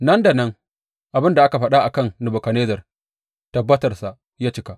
Nan da nan abin da aka faɗa a kan Nebukadnezzar tabbatarsa ya cika.